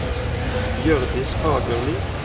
Hjørdis Fagerli